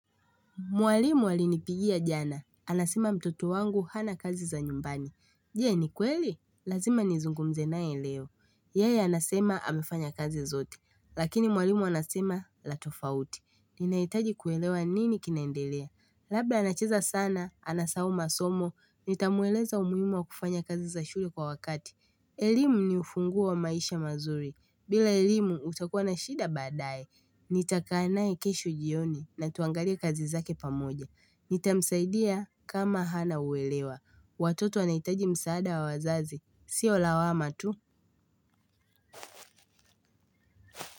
Mwalimu alinipigia jana. Anasema mtoto wangu hana kazi za nyumbani. Je ni kweli? Lazima nizungumze naye leo. Yeye anasema amefanya kazi zote. Lakini mwalimu anasema latofauti. Ninahitaji kuelewa ni nini kinendelea. Labla anacheza sana anasahau masomo. Nitamweleza umuhimu wa kufanya kazi za shule kwa wakati. Elimu ni ufunguo wa maisha mazuri. Bila elimu utakuwa na shida baadaye. Nitakaa naye kesho jioni natuangalie kazi zake pamoja. Nitamsaidia kama hana uwelewa. Watoto anahitaji msaada wa wazazi Sio lawama tu.